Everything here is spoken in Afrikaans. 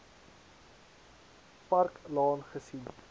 park laan gesien